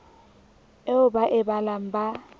eo ba e balang ba